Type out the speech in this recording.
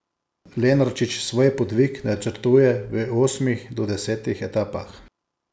Lenarčič svoj podvig načrtuje v osmih do desetih etapah.